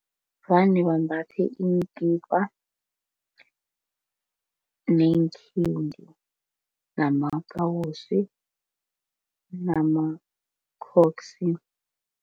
Vane bambathe iinkipa neenkhidi namakawosi namakhoksi.